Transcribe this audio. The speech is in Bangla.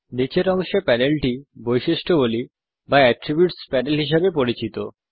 নীচের অংশে প্যানেলটি বৈশিষ্ট্যাবলী বা প্যানেল হিসাবে পরিচিত